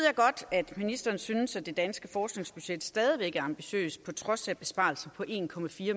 at ministeren synes at det danske forskningsbudget stadig væk er ambitiøst på trods af besparelser på en